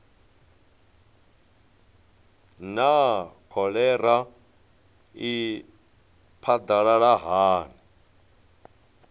naa kholera i phadalala hani